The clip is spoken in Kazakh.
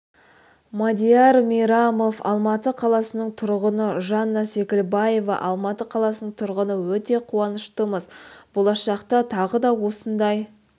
мадияр мейрамов алматы қаласының тұрғыны жанна секілбаева алматы қаласының тұрғыны өте қуаныштымыз болашақта тағы да осындай